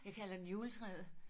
Jeg kalder den juletræet